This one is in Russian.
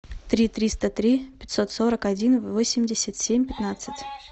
три триста три пятьсот сорок один восемьдесят семь пятнадцать